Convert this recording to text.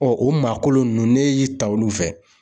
Ɔ o maa kolon nunnu, ne y'i ta olu fɛ.